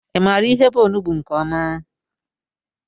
I maara ihe bụ ọnụgbu nke ọma?